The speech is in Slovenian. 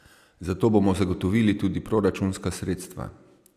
Za to bomo zagotovili tudi proračunska sredstva.